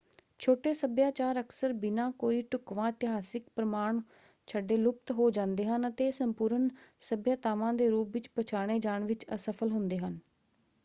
ਛੋਟੇ ਸੱਭਿਆਚਾਰ ਅਕਸਰ ਬਿਨਾਂ ਕੋਈ ਢੁੱਕਵਾਂ ਇਤਿਹਾਸਕ ਪ੍ਰਮਾਣ ਛੱਡੇ ਲੁਪਤ ਹੋ ਜਾਂਦੇ ਹਨ ਅਤੇ ਇਹ ਸੰਪੂਰਨ ਸੱਭਿਆਤਾਵਾਂ ਦੇ ਰੂਪ ਵਿੱਚ ਪਛਾਣੇ ਜਾਣ ਵਿੱਚ ਅਸਫਲ ਹੁੰਦੇ ਹਨ।